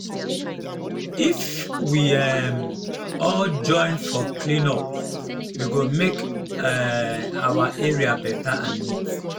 if we um all join for clean up e go make um our area better and neat.